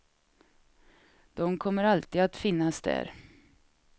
De kommer alltid att finnas där.